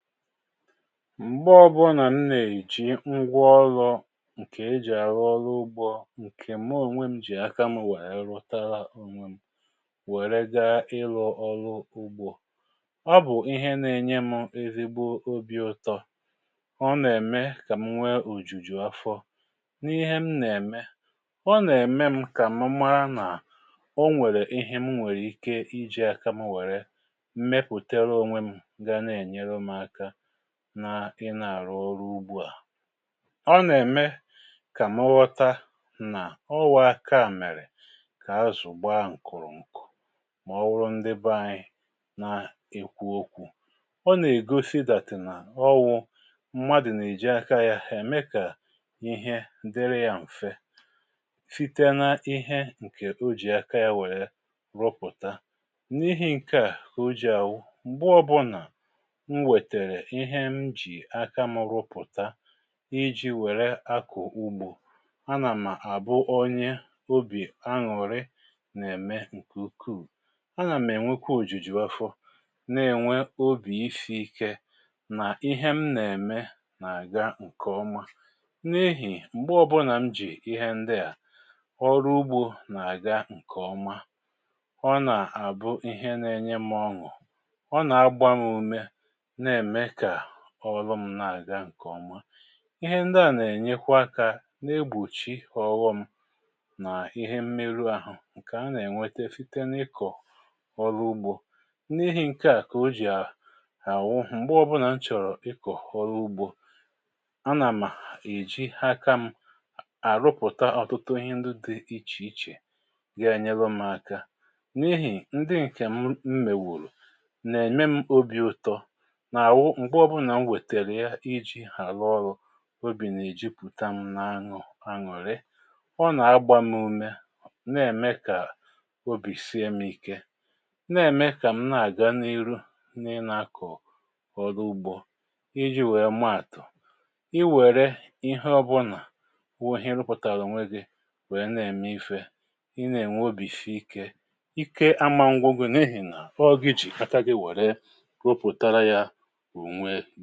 M̀gbe ọbụnà m nà-èji ngwaọlụ ǹkè e jì àrụ ọlụ ugbȯ, ǹkè mụ ònwè m jì aka m wèrè rụtara wèrè gaa ịlụ ọlụ ugbȯ. Ọ bụ̀ ihe nȧ-ènye m ezigbo obì ụ̀tọ. Ọ nà-ème kà m nwee ùjùjù afọ n’ihe m nà-ème. Ọ nà-ème m kà m mara nà o nwèrè ihe m nwèrè ike iji̇aka m wèrè mepùtere onwė m ga na-ènyụ m aka, naa ị nà-àrụ ọrụ ugbu à. Ọ nà-ème kà mụ ghọta nà ọ wụ̀ aka mèrè kà azụ̀ gbaa ǹkụ̀rụ̀ǹkụ̀, mà ọ wụrụ ndị ba anyị na-ekwú okwu ̇Ọ nà-ègosi that nà ọwụ mmadụ̀ nà-èji aka yȧ ème kà ihe dịrị yȧ m̀fe, site na ihe ǹkè o jì aka yȧ wèe rụpụ̀ta. N’ihi̇ ǹke à kà o jì àwụ m̀gbe ọbụnà m wèterè ihe m jì aka m rụpụ̀ta iji wèré akụ̀ ugbȯ, a nà mà àbụ onye obì aṅụ̀rị nà-ème ǹkè ukuu. A nà m̀ ènwekwa òjùjù afọ, na-ènwe obì isi ike nà ihe m nà-ème nà-àga ǹkèọma n’ihì m̀gbe ọbụnà m jì ihe ndị à, ọrụ ugbȯ nà-àga ǹkèọma. Ọ nà-àbụ ihe na-enye m ọṅụ̀. Ọ nà-agba m ume, na-eme kà ólú m na-àgá nke ọma. Ihe ndị à nà-ènyekwa aka na-egbòchì ọghọm nà ihe mmerụ àhụ ǹkè a nà-ènwete site n’ịkọ̀ ọrụ ugbȯ. N’ihi ǹke à kà o jì a, àwụ m̀gbe ọbụnà m chọ̀rọ̀ ịkọ̀ ọrụ ugbȯ, a nà mà èji aka m àrụpụ̀ta ọ̀tụtụ ihe ndị dị ichè ichè ga-enyelu m aka n’ihì ndị ǹkè m mmèwòrò nà-ème m obì ụtọ, nà-àwụ mgbe ọbụnà mwètèrè ya ijì hà rụ ọrụ, obì nà-èjupụ̀ta m na-aṅụ aṅụ̀rị. Ọ nà-agba m ume, nà-ème kà obì sie m ike, nà-ème kà m nà-àga n’iru n'ịná-akọ̀ ọrụ ugbȯ. Íjí wèe maàtụ̀, i wère ihe ọbụnà wụ ihe ị rụpụ̀tàrà onwé gị wèe na-ème ifė, ị nà-ènwe obì sii ike. Ike amȧǹgwụ̀ gụ n’ihì nà ọọ gị jì aka gị wère gụpụtara ya onwé.